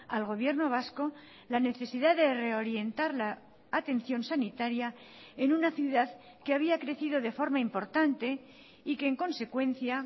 al gobierno vasco la necesidad de reorientar la atención sanitaria en una ciudad que había crecido de forma importante y que en consecuencia